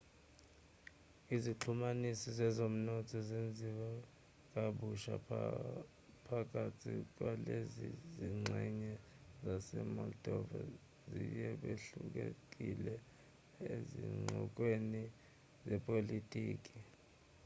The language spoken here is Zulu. izixhumanisi zezomnotho zenziwe kabusha phakathi kwalezi zingxenye zase-moldova yize behlulekile ezinxoxweni zepolitiki